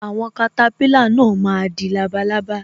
Àwọn katapila náà má di labalábá